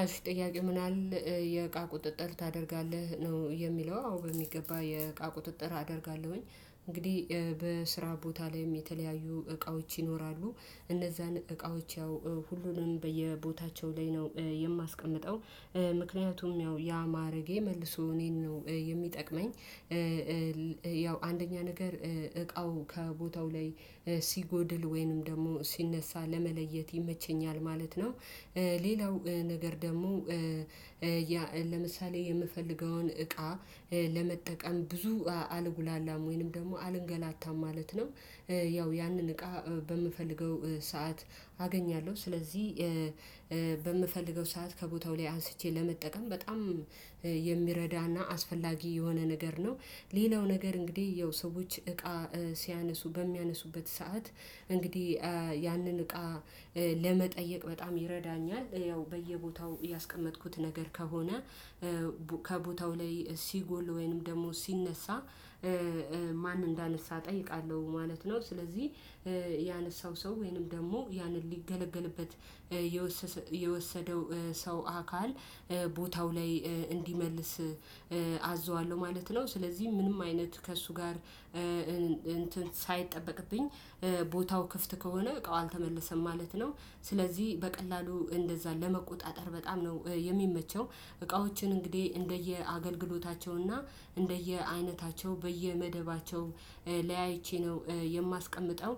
አሽ ጥያቄ ምናል የእቃ ቁጥጥር ታደርጋለህ ነው የሚለው? አዎ በሚገባ የእቃ ቁጥጥር አደርጋለሁኝ እንግዲህ በስራ ቦታ ላይም የተለያዩ እቃዎች ይኖራሉ እነዛን እቃዎች ያው ሁሉንም በየቦታቸው ላይ ነው የማስቀምጠው። ምክንያቱም ያው ያ ማረጌ መልሶ እኔን ነው የሚጠቅመኝ። ያው አንደኛ ነገር እቃው ከቦታው ላይ ሲጎድል ወይንም ደግሞ ሲነሳ ለመለየት ይመቸኛል ማለት ነው። ሌላው ነገር ደግሞ ለምሳሌ የምፈልገውን እቃ ለመጠቀም ብዙ አልጉላላም ወይንም ደግሞ አልንገላታም ማለት ነው። ያው ያንን እቃ በምፈልገው ሰዓት አገኛለሁ ስለዚህ በምፈልገው ሰዓት ከቦታው ላይ አንስቼ ለመጠቀም በጣም የሚረዳና አስፈላጊ የሆነ ነገር ነው። ሌላው ነገር እንግዲህ ያው ሰዎች እቃ ሲያነሱ በሚያነሱበት ሰዓት እንግዲህ ያንን እቃ ለመጠየቅ በጣም ይረዳኛል። ያው በየቦታው ያስቀመጥኩት ነገር ከሆነ ከቦታው ላይ ሲጎል ወይንም ደግሞ ሲነሳ ማን እንዳነሳ እጠይቃለሁ ማለት ነው። ስለዚህ ያነሳው ሰው ወይንም ደግሞ ያንን ሊገለገልበት የወሰደው ሰው አካል ቦታው ላይ እንዲመልስ አዘዋለሁ ማለት ነው። ስለዚህ ምንም አይነት ከእሱ ጋር እንትን ሳይጠበቅብኝ ቦታው ክፍት ከሆነ እቃው አልተመለሰም ማለት ነው። ስለዚህ በቀላሉ እንደዛ ለመቆጣጠር በጣም ነው የሚመቸው። እቃዎችን እንግዲህ እንደየ አገልግሎታቸው እና እንደየ አይነታቸው በየመደባቸው ላያይቼ ነው የማስቀምጠው።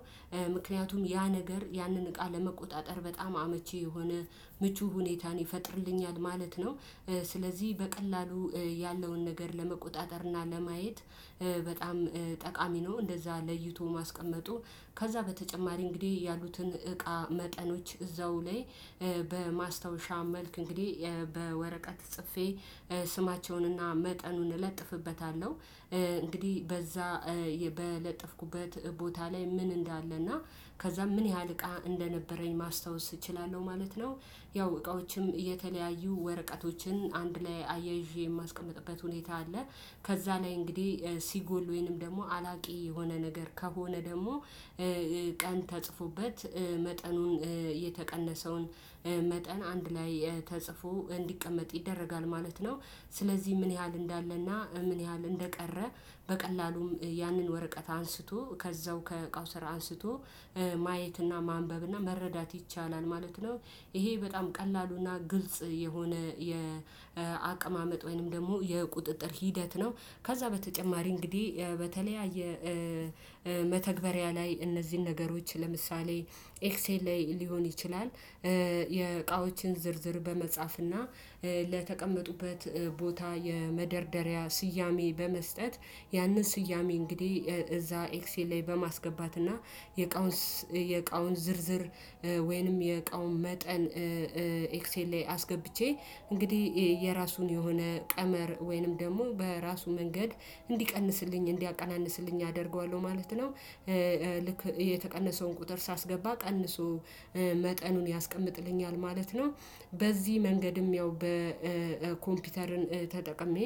ምክንያቱም ያ ነገር ያንን እቃ ለመቆጣጠር በጣም አመቺ የሆነ ምቹ ሁኔታን ይፈጥርልኛል ማለት ነው። ስለዚህ በቀላሉ ያለውን ነገር ለመቆጣጠር እና ለማየት በጣም ጠቃሚ ነው። እንደዛ ለይቶ ማስቀመጡ ከዛ በተጨማሪ እንግዲህ ያሉትን እቃ መጠኖች እዛው ላይ በማስታወሻ መልክ እንግዲህ በወረቀት ጽፌ ስማቸውንና መጠኑን እለጥፍበታለሁ። እንግዲህ በዛ በለጠፍኩበት ቦታ ላይ ምን እንዳለ እና ከዛ ምን ያህል እቃ እንደነበረኝ ማስታወስ እችላለሁ ማለት ነው። ያው እቃዎችም የተለያዩ ወረቀቶችን አንድ ላይ አያይዤ የማስቀምጥበት ሁኔታ አለ። ከዛ ላይ እንግዲህ ሲጎል ወይንም ደግሞ አላቂ የሆነ ነገር ከሆነ ደግሞ ቀን ተጽፎበት መጠኑን የተቀነሰውን መጠን አንድ ላይ ተጽፎ እንዲቀመጥ ይደረጋል ማለት ነው። ስለዚህ ምን ያህል እንዳለና ምን ያህል እንደቀረ በቀላሉም ያንን ወረቀት አንስቶ ከዛው ከእቃው ስራ አንስቶ ማየትና ማንበብና መረዳት ይቻላል ማለት ነው። ይሄ በጣም ቀላሉና ግልጽ የሆነ የአቀማመጥ ወይንም ደግሞ የቁጥጥር ሂደት ነው። ከዛ በተጨማሪ እንግዲህ በተለያየ መተግበሪያ ላይ እነዚህን ነገሮች ለምሳሌ ኤክሴል ላይ ሊሆን ይችላል። የእቃዎችን ዝርዝር በመጻፍና ለተቀመጡበት ቦታ የመደርደሪያ ስያሜ በመስጠት ያንን ስያሜ እንግዲህ እዛ ኤክሴል ላይ በማስገባት እና የእቃውን የእቃውን ዝርዝር ወይንም የእቃውን መጠን ኤክስኤል ላይ አስገብቼ እንግዲህ የራሱን የሆነ ቀመር ወይንም ደግሞ በራሱ መንገድ እንዲቀንስልኝ እንዲያቀናንስልኝ አደርገዋለሁ ማለት ነው። ልክ የተቀነሰውን ቁጥር ሳስገባ ቀንሶ መጠኑን ያስቀምጥልኛል ማለት ነው። በዚህ መንገድም ያው በኮምፒውተርን ተጠቅሜ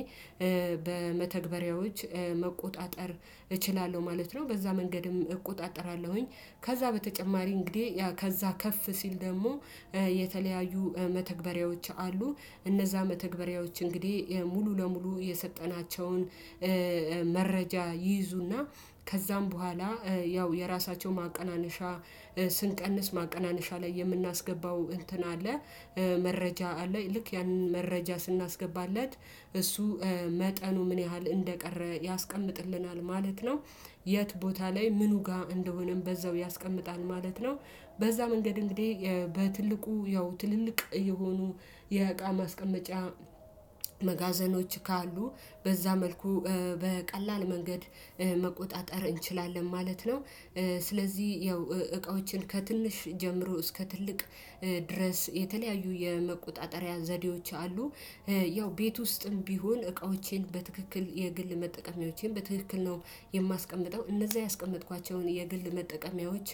በመተግበሪያዎች መቆጣጠር እችላለሁ ማለት ነው። በዛ መንገድም እቆጣጠራለሁኝ ከዛ በተጨማሪ እንግዲህ ከዛ ከፍ ሲል ደግሞ የተለያዩ መተግበሪያዎች አሉ። እነዛ መተግበሪያዎች እንግዲህ ሙሉ ለሙሉ የሰጠናቸውን መረጃ ይይዙና ከዛም በኋላ ያው የራሳቸው ማቀናነሻ ስንቀንስ ማቀናነሻ ላይ የምናስገባው እንትን አለ መረጃ አለ ልክ ያንን መረጃ ስናስገባለት እሱ መጠኑ ምን ያህል እንደቀረ ያስቀምጥልናል ማለት ነው። የት ቦታ ላይ ምኑ ጋር እንደሆነም በዛው ያስቀምጣል ማለት ነው። በዛ መንገድ እንግዲህ በትልቁ ያው ትልልቅ የሆኑ የእቃ ማስቀመጫ መጋዘኖች ካሉ በዛ መልኩ በቀላል መንገድ መቆጣጠር እንችላለን ማለት ነው። ስለዚህ ያው እቃዎችን ከትንሽ ጀምሮ እስከ ትልቅ ድረስ የተለያዩ የመቆጣጠሪያ ዘዴዎች አሉ። ያው ቤት ውስጥም ቢሆን እቃዎቼን በትክክል የግል መጠቀሚያዎቼን በትክክል ነው። የማስቀምጠው እነዛ ያስቀመጥኳቸውን የግል መጠቀሚያዎች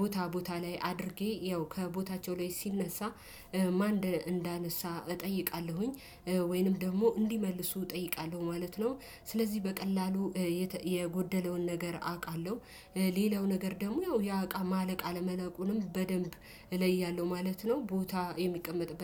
ቦታ ቦታ ላይ አድርጌ ያው ከቦታቸው ላይ ሲነሳ ማን እንዳነሳ እጠይቃለሁኝ ወይንም ደግሞ እንዲመልሱ እጠይቃለሁ ማለት ነው። ስለዚህ በቀላሉ የጎደለውን ነገር አቃለሁ። ሌላው ነገር ደግሞ ያው ያው አቃ ማለቅ አለማለቁንም በደንብ እለያለሁ ማለት ነው። ቦታ የሚቀመጥበት